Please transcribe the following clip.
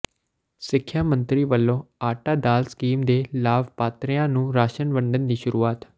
ਸਿੱਖਿਆ ਮੰਤਰੀ ਵੱਲੋਂ ਆਟਾ ਦਾਲ ਸਕੀਮ ਦੇ ਲਾਭਪਾਤਰੀਆਂ ਨੰੂ ਰਾਸ਼ਨ ਵੰਡਣ ਦੀ ਸ਼ੁਰੂਆਤ